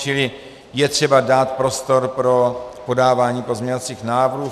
Čili je třeba dát prostor pro podávání pozměňovacích návrhů.